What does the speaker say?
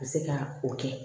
A bɛ se ka o kɛ